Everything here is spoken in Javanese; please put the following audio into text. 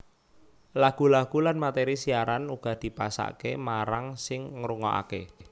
Lagu lagu lan materi siaran uga dipasake marang sing ngrungokake